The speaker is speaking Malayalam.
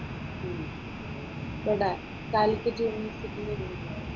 ഇവിടെ കാലിക്കറ്റ് യൂണിവേഴ്സിറ്റിയിൽ.